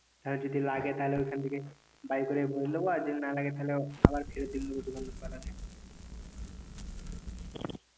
আর যদি লাগে তাহলে ওখান থেকে বাইর করে ভরে লোবো আর যদি না লাগে আবার ফেরত দিয়ে দেবো দোকান ওয়ালের